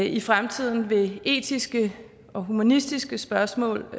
i fremtiden vil etiske og humanistiske spørgsmål